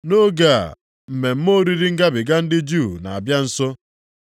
Nʼoge a, mmemme oriri Ngabiga ndị Juu na-abịa nso.